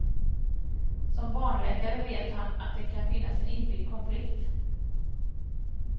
Som barnläkare vet han att det kan finnas en inbyggd konflikt.